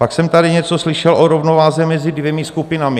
Pak jsem tady něco slyšel o rovnováze mezi dvěma skupinami.